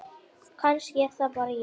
Kannski er það bara ég?